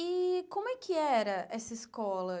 E como é que era essa escola?